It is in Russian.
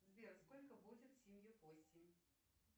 сбер сколько будет семью восемь